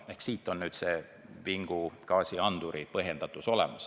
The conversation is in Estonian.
Seepärast on vingugaasianduri kohustuslikkus vägagi põhjendatud.